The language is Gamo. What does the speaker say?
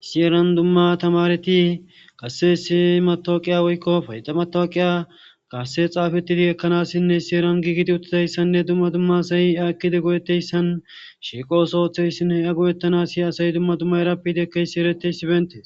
Isi heran dumma tamareti qasse essi matoqiya woykko payida matawoqiya kasse xaafettidi ekkanassinne seran giigidi uttidayssanne dumma dumma asay a ekide go7etteyssan shiiqo ooso oththeyssinne a go7ettanas yiya asay dumma dumma erappidiekkey si7ereteysi bentee